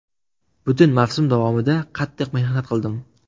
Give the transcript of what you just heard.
Butun mavsum davomida qattiq mehnat qildim.